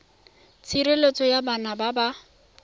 tshireletso ya bana ba ba